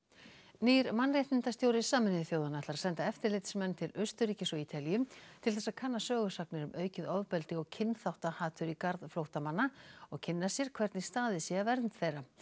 nýr mannréttindastjóri Sameinuðu þjóðanna ætlar að senda eftirlitsmenn til Austurríkis og Ítalíu til þess að kanna sögusagnir um aukið ofbeldi og kynþáttahatur í garð flóttamanna og kynna sér hvernig staðið sé að vernd þeirra